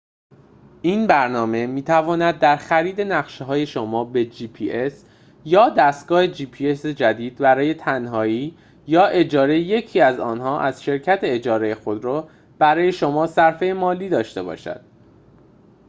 این برنامه می‌تواند در خرید نقشه‌های جدید برای gps یا دستگاه gps شما به تنهایی یا اجاره یکی از آنها از شرکت اجاره خودرو برای شما صرفه مالی داشته باشد